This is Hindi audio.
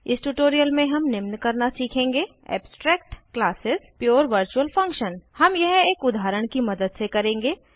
इस ट्यूटोरियल में हम निम्न करना सीखेंगे Abstract classes Pure virtual function हम यह एक उदाहरण की मदद से करेंगे